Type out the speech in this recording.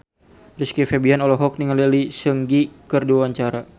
Rizky Febian olohok ningali Lee Seung Gi keur diwawancara